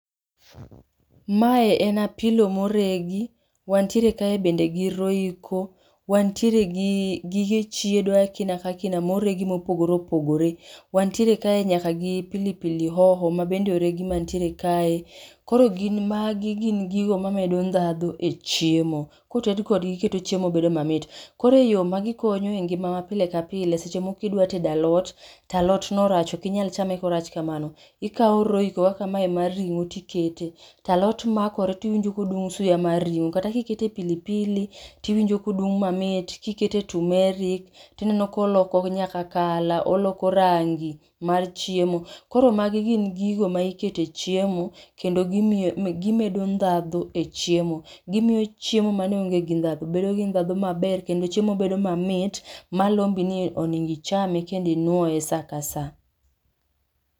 Mae en apilo moregi, wantiere kae bende gi Royco, wantiere gi gige chiedo moregi mopogore opogore. Wantiere kae nyaka gi pilipili hoho mbende oregi mantiere kae, koro gin magi gin gigo mamedo ndadhu e chiemo. Koted kodgi keto chiemo bedo mamit. Koro e yoo magikonyo e ngima ma pile ka pile, seche moko idwa tedo alot, to alotno rach okinyal chame korach kamano, ikao Royco kaka mae mar ring'o tikete, talot makore tiwinjo kodung' suya mar ring'o, kata kikete pilipili tiwinjo kodung' mamit, kikete tumeric tineno koloko nyaka color, oloko rangi mar chiemo. Koro magi gin gigo maikete chiemo, kendo gimio gimedo ndhadhu e chiemo. Gimio chiemo mane onge gi ndhadhu bedo gi ndhadhu maber kendo chiemo bedo mamit malombi ni onego ichame kendo inwoe saa ka saa.